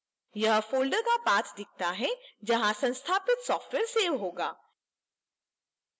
यह folder का path दिखाता है जहां संस्थापित software सेव होगा